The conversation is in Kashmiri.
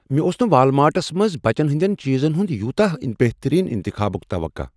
مےٚ اوس نہٕ والمارٹس منٛز بچن ہنٛدین چیزن ہنز یوٗتاہ بہترین انتخابٖك توقع۔